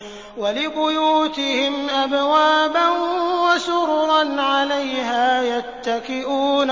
وَلِبُيُوتِهِمْ أَبْوَابًا وَسُرُرًا عَلَيْهَا يَتَّكِئُونَ